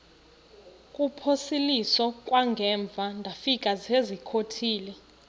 kuphosiliso kwangaemva ndafikezizikotile